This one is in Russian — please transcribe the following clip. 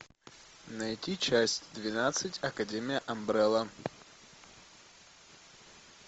найти часть двенадцать академия амбрелла